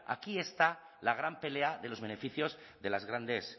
aquí está la gran pelea de los beneficios de las grandes